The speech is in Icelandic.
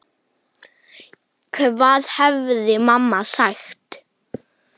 Hvað hefði mamma sagt?